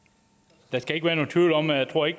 der